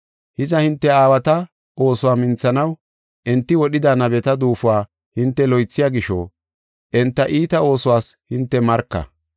Hiza, hinte aawata oosuwa minthanaw enti wodhida nabeta duufuwa hinte loythiya gisho, enta iita oosuwas hinte marka.